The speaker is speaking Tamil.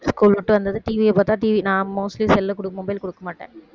school விட்டு வந்ததும் TV ய பாத்தா TV நான் mostly cell அ mobile கொடுக்கமாட்டேன்